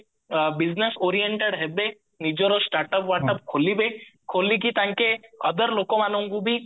business oriented ହେବେ ନିଜର status ବାଟସ ଖୋଳିବେ ଖୋଲିକି ତାଙ୍କେ ବି other ଲୋକମାନଙ୍କୁ